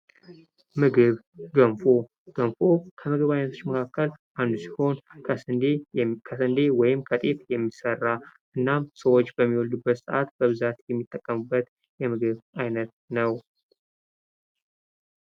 ምግብ ገንፎ ክንፍ ከምግብ አይነቶች መካከል አንዱ ሲሆን ከስንዴ ወይም ከጤፍ የሚሰራ እና ሰዎች በሚወዱበት ሰዓት በብዛት የሚጠቀሙበት የምግብ አይነት ነው።